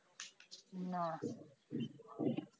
না